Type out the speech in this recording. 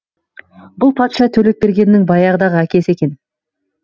бұл патша төлепбергеннің баяғыдағы әкесі екен